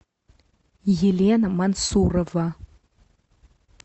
елена мансурова